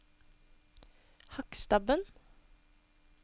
Hakkstabben